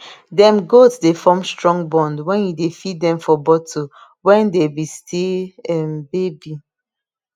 dem goat dey form strong bond wen u dey feed dem for bottle wen dey be still um baby